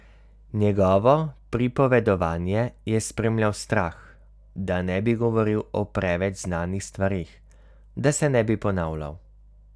Njegovo pripovedovanje je spremljal strah, da ne bi govoril o preveč znanih stvareh, da se ne bi ponavljal.